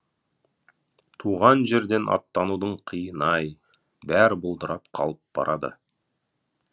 туған жерден аттанудың қиыны ай бәрі бұлдырап қалып барады